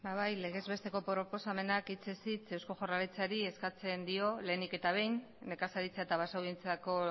bai legez besteko proposamenak hitzez hitz eusko jaurlaritzari eskatzen dio lehenik eta behin nekazaritza eta basogintzako